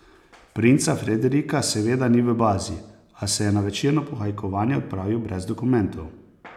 Princa Frederika seveda ni v bazi, a se je na večerno pohajkovanje odpravil brez dokumentov.